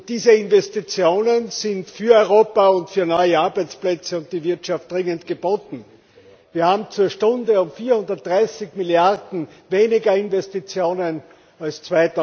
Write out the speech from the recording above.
Jobs. Diese Investitionen sind für Europa und für neue Arbeitsplätze und die Wirtschaft dringend geboten Wir haben zur Stunde um 430 Milliarden weniger Investitionen